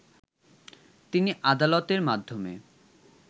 তিনি আদালতের মাধ্যমে